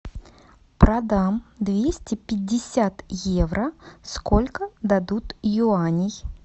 продам двести пятьдесят евро сколько дадут юаней